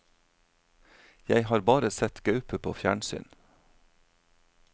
Jeg har bare sett gaupe på fjernsyn.